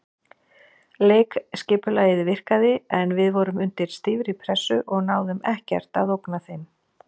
Leikskipulagið virkaði en við vorum undir stífri pressu og náðum ekkert að ógna þeim.